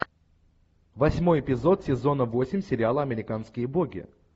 восьмой эпизод сезона восемь сериала американские боги